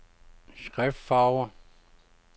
skriftfarve